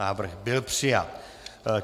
Návrh byl přijat.